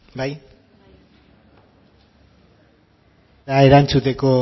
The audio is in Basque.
bai erantzuteko